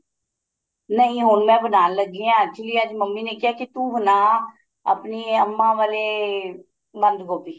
ਨਹੀਂ ਹੁਣ ਮੈਂ ਬਨਾਣ ਲੱਗੀ ਆ actually ਅੱਜ ਮੰਮੀ ਨੇ ਕਿਹਾ ਕੀ ਤੂੰ ਬਣਾ ਆਪਣੀ ਅੰਮਾ ਵਾਲੇ ਬੰਦ ਗੋਭੀ